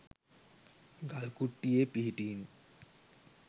ගල් කුට්ටියේ පිහිටීම